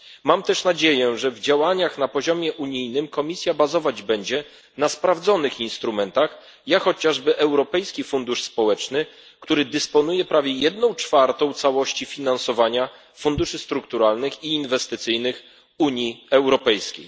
Mam też nadzieję, że w działaniach na poziomie unijnym Komisja bazować będzie na sprawdzonych instrumentach jak chociażby Europejski Fundusz Społeczny, który dysponuje prawie jedną czwartą całości finansowania w ramach funduszy strukturalnych i inwestycyjnych Unii Europejskiej.